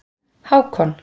Hákon